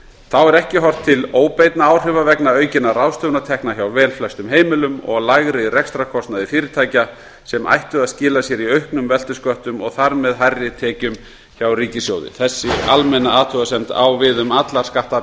þá er ekki horft til óbeinna áhrifa vegna aukinna ráðstöfunartekna hjá velflestum heimilum og lægri rekstrarkostnaðar fyrirtækja sem ættu að skila sér í auknum veltusköttum og þar með hærri tekjum hjá ríkissjóði þessi almenna athugasemd á við um allar